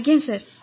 ଆଜ୍ଞା ସାର୍